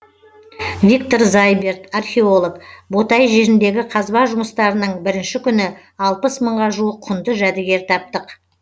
виктор зайберт археолог ботай жеріндегі қазба жұмыстарының бірінші күні алпыс мыңға жуық құнды жәдігер таптық